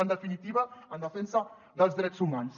en definitiva en defensa dels drets humans